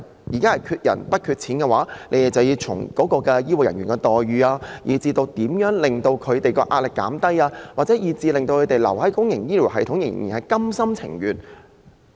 要應對缺人不缺錢的問題，局方應研究如何提升醫護人員的待遇、減輕他們的壓力，令他們心甘情願留在公營醫療系統。